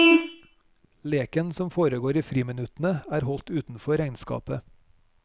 Leken som foregår i friminuttene er holdt utenfor regnskapet.